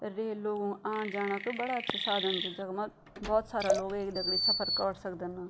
रेल लोगों आण-जाना क बड़ा अच्छा साधन च जखमा बहौत सारा लोग एक दगड़ी सफ़र कौर सकदन न।